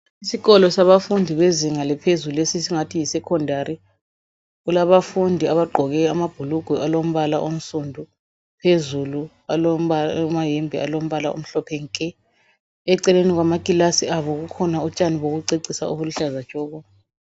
Isikolo sabafundi bezinga laphezulu esingathi yi secondary .Kulabafundi abagqoke amabhulugwe alombala onsundu . Phezulu amayembe alombala omhlophe nke .Eceleni kwamakilasi abo kukhona utshani bokucecisa obuluhlaza tshoko.